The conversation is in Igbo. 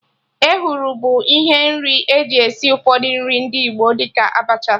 Ehuru bụ ihe nri eji esi ụfọdụ nri ndị Igbo, dị ka Abacha